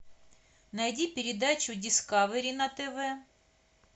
найди передачу дискавери на тв